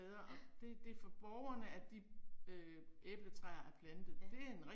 Ja. Ja